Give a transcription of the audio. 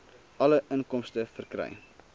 alle inkomste verkry